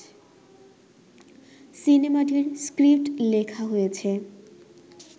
সিনেমাটির স্ক্রিপ্ট লেখা হয়েছে